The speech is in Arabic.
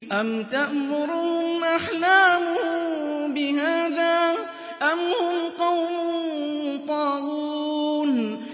أَمْ تَأْمُرُهُمْ أَحْلَامُهُم بِهَٰذَا ۚ أَمْ هُمْ قَوْمٌ طَاغُونَ